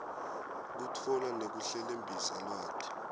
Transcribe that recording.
kutfola nekuhlelembisa lwati